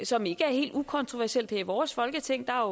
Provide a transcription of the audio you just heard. som ikke er helt ukontroversielt her i vores folketing der